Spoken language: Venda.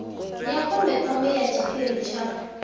ya khombekhombe ya tshiphiri tsha